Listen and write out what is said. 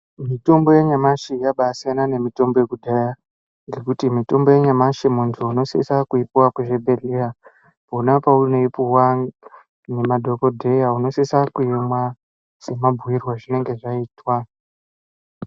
Mitombo yanyamashi yabasiyana nemitombo yekudhaya ngekuti mitombo yanyamashi, muntu unosisa kuipiwa kuchibhedhlera yona peunoipiwa ngemadhogodheya unosisa kuimwa semabhuyirwe ezvinenge zvaitwa.